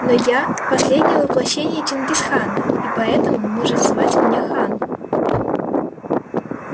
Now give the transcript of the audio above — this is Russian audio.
но я последнее воплощение чингис хана и поэтому можете звать меня хан